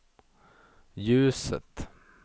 ljuset